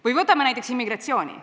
Või vaatame näiteks immigratsiooni.